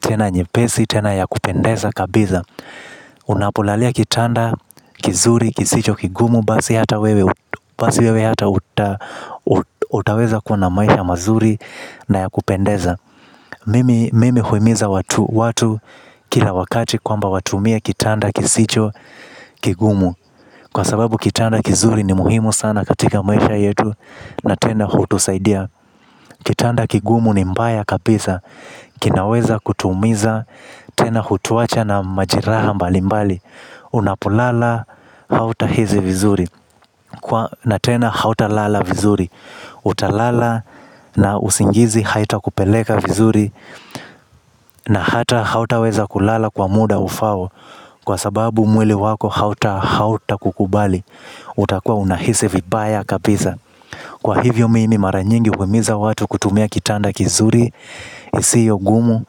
Tena nyepesi, tena ya kupendeza kabisa. Unapolalia kitanda kizuri kisicho kigumu, basi hata wewe hata utaweza kuwa na maisha mazuri na ya kupendeza. Mimi huimiza watu kila wakati kwamba watumie kitanda kisicho kigumu. Kwa sababu kitanda kizuri ni muhimu sana katika maisha yetu. Na tena hutusaidia. Kitanda kigumu ni mbaya kabisa. Kinaweza kutuumiza, tena hutuacha na majeraha mbalimbali. Unapulala hautahisi vizuri. Na tena hauta lala vizuri utalala, na usingizi haitakupeleka vizuri. Na hata hautaweza kulala kwa muda ufaao. Kwa sababu mwili wako hauta hauta kukubali. Utakua unahisi vibaya kabisa. Kwa hivyo mimi mara nyingi uhimiza watu kutumia kitanda kizuri isio gumu.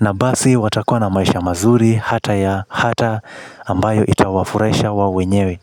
Na basi watakua na maisha mazuri. Hata ya hata ambayo itawafurahisha wao wenyewe.